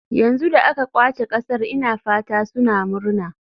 Yanzu da aka ƙwace ƙasar ina fata suna murna.